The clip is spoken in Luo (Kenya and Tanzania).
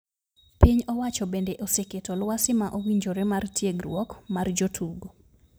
Piny owacho bende oseketo lwasi ma owinjore mar tiegruok mar jo tugo.